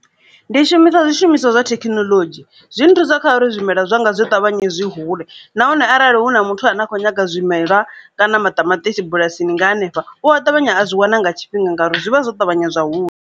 Ndi shumisa zwishumiswa zwa thekinoḽodzhi zwi ni thusa kha uri zwimela zwanga zwo ṱavhanye zwi hule nahone arali hu na muthu ane a kho nyaga zwimelwa kana maṱamaṱisi bulasini nga hanefha u a ṱavhanya a zwi wana nga tshifhinga ngauri zwi vha zwo ṱavhanya zwa hula.